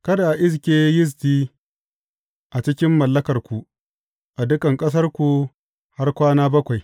Kada a iske yisti a cikin mallakarku a dukan ƙasarku har kwana bakwai.